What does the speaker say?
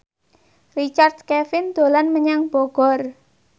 Richard Kevin dolan menyang Bogor